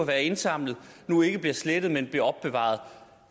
været indsamlet nu ikke bliver slettet men bliver opbevaret